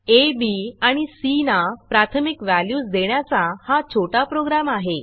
आ B आणि C ना प्राथमिक व्हॅल्यूज देण्याचा हा छोटा प्रोग्रॅम आहे